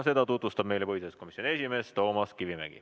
Seda tutvustab meile põhiseaduskomisjoni esimees Toomas Kivimägi.